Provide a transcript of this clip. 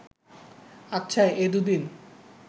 আচ্ছা, এ দুদিন